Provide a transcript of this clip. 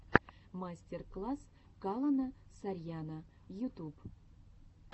мастер класс калона сарьяно ютуб